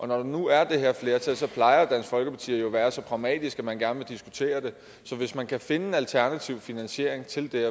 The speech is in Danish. der nu er det her flertal plejer dansk folkeparti jo at være så pragmatisk at man gerne vil diskutere det så hvis man kan finde en alternativ finansiering til det